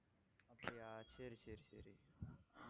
அப்படியா சரி சரி சரி